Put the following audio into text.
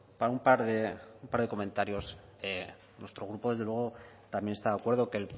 para un par de comentarios nuestro grupo desde luego también está de acuerdo que